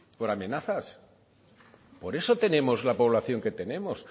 por amenazas por eso tenemos la población que tenemos